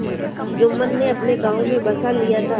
जुम्मन ने अपने गाँव में बसा लिया था